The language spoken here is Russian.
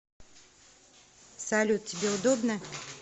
салют тебе удобно